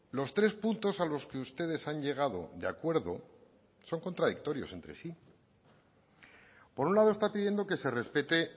los tres puntos a los que ustedes han llegado de acuerdo son contradictorios entre sí por un lado está pidiendo que se respete